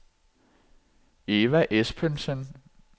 Eva Espensen